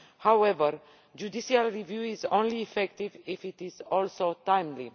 However, judicial review is only effective if it is also timely.